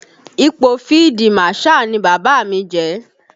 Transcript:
Ipò fídí Màṣáà ni Bàbá mi jẹ